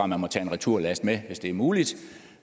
man må tage en returlast med hvis det er muligt